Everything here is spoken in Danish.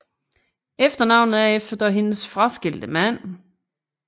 Efternavnet er efter hendes fraskilte mand